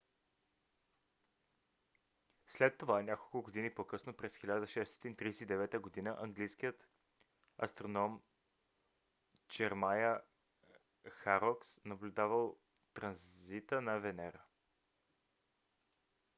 след това няколко години по-късно през 1639 г. английският астроном джеремая хорокс наблюдавал транзита на венера